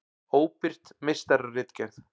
Óbirt meistararitgerð.